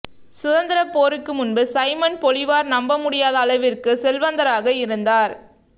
சுதந்திரப் போருக்கு முன்பு சைமன் பொலிவார் நம்பமுடியாத அளவிற்கு செல்வந்தராக இருந்தார்